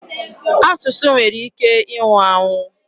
Asụsụ nwere ike ịnwụ anwụ.